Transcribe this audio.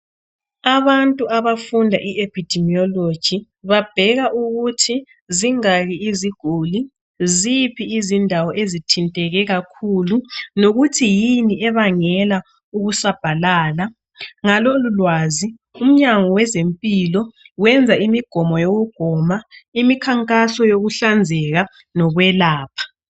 Abantu abafunda i-Epidimeology babheka ukuthi zingaki iziguli. Ziphi izindawo ezithinteke kakhulu. Lokuthi yini ebangela ukusabhalala. Ngalolulwazi umnyango wezempilo wenza imigomo yokugoma, imikhankaso yokuhlanzeka. nokwelapha.